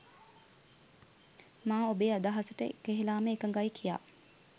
මා ඔබේ අදහසට එකහෙලාම එකඟයි කියා.